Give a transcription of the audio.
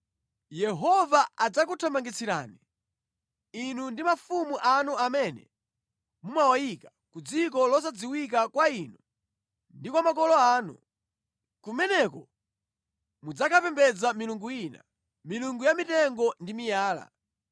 Yehova adzakuthamangitsirani, inu ndi mafumu anu amene muwayika, ku dziko losadziwika kwa inu ndi kwa makolo anu. Kumeneko mudzakapembedza milungu ina, milungu ya mitengo ndi miyala.